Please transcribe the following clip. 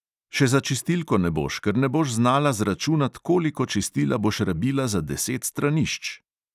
Še za čistilko ne boš, ker ne boš znala zračunat, koliko čistila boš rabila za deset stranišč!